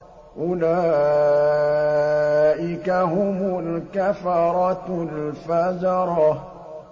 أُولَٰئِكَ هُمُ الْكَفَرَةُ الْفَجَرَةُ